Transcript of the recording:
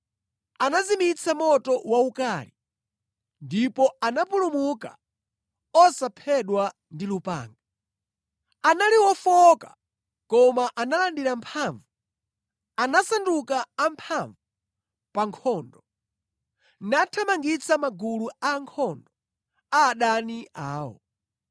anazimitsa moto waukali, ndipo anapulumuka osaphedwa ndi lupanga. Anali ofowoka koma analandira mphamvu; anasanduka amphamvu pa nkhondo, nathamangitsa magulu a ankhondo a adani awo.